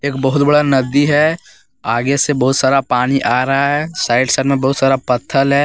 बहुत बड़ा नदी है आगे से बहुत सारा पानी आ रहा है साइड साइड में बहुत सारा पत्थल है।